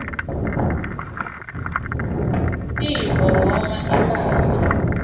tintfo noma imphahla